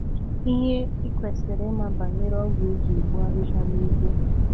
Ihe ị kwesịrị ịma banyere ọgwụ eji egbu ahịhịa n’ụgbọ.